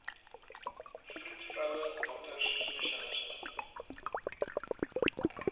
vroedvroue dokters spesialiste